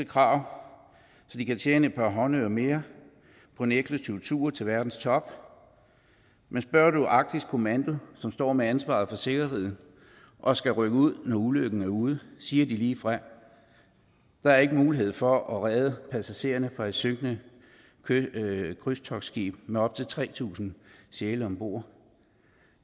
krav så de kan tjene et par håndører mere på en eksklusiv tur til verdens top men spørger du arktisk kommando som står med ansvaret for sikkerheden og skal rykke ud når ulykken er ude siger de ligefrem at der ikke er mulighed for at redde passagererne fra et synkende krydstogtskib med op til tre tusind sjæle om bord